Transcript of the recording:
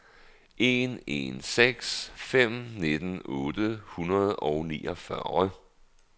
en en seks fem nitten otte hundrede og niogfyrre